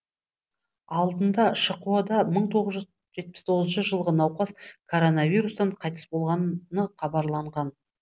алдында шқо да мың тоғыз жүз жетпіс тоғызыншы жылғы науқас коронавирустан қайтыс болғаны хабарланған